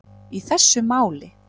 í þessu máli.